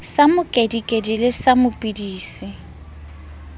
sa mokedikedi le sa dipidisi